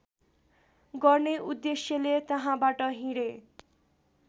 गर्ने उद्देश्यले त्यहाँबाट हिँडे